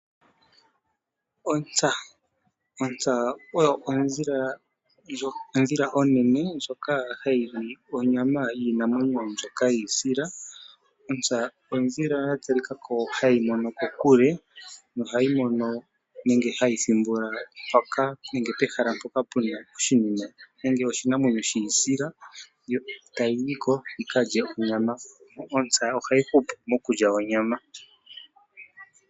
Ontsa oyo odhila onene ndjoka hayi li onyama yiinamwenyo mbyoka yiisila. Ontsa odhila yatalikako hayi mono kokule nohayi mono nenge hayi thimbula pehala mpoka puna oshinima nenge oshinamwenyo shiisila yo tayi yi ko yikalye onyama. Ontsa ohayi hupu mokulya onyama.